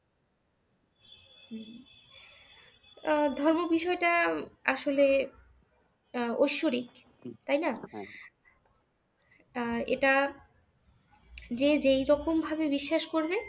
আহ ধর্ম বিষয়টা আসলে আহ ঐশ্বরিক তাইনা আহ এইটা যে যেইরকম ভাবে বিশ্বাস করবে